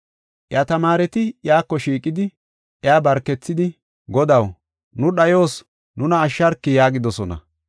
Iya tamaareti iyako shiiqidi iya barkethidi, “Godaw, nu dhayos nuna ashsharki” yaagidosona.